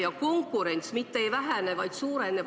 Ja konkurents mitte ei vähene, vaid suureneb.